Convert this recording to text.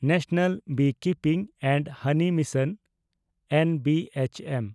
national beekeeping and honey mission (NBHM)